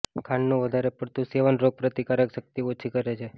ખાંડનું વધારે પડતું સેવન રોગ પ્રતિકારક શક્તિ ઓછી કરે છે